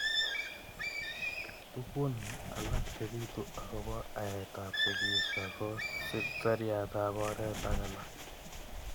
Tukun alak chebitu akobo aet ab sikisho ko siriat ab oret ak alak.